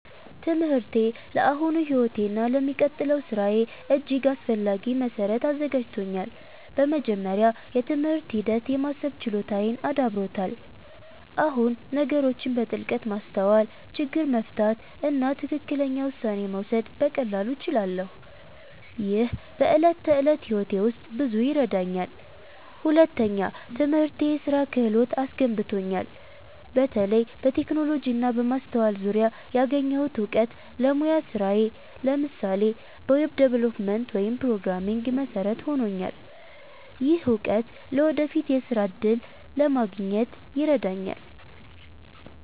ትምህርቴ ለአሁኑ ሕይወቴ እና ለሚቀጥለው ሥራዬ እጅግ አስፈላጊ መሠረት አዘጋጅቶኛል። በመጀመሪያ፣ የትምህርት ሂደት የማሰብ ችሎታዬን አዳብሮታል። አሁን ነገሮችን በጥልቀት ማስተዋል፣ ችግር መፍታት እና ትክክለኛ ውሳኔ መውሰድ በቀላሉ እችላለሁ። ይህ በዕለት ተዕለት ሕይወቴ ውስጥ ብዙ ይረዳኛል። ሁለተኛ፣ ትምህርቴ የስራ ክህሎት አስገንብቶኛል። በተለይ በቴክኖሎጂ እና በማስተዋል ዙሪያ ያገኘሁት እውቀት ለሙያዊ ስራዬ (ለምሳሌ በweb development ወይም programming) መሠረት ሆኖልኛል። ይህ እውቀት ለወደፊት የሥራ እድል ለማግኘት ይረዳኛል።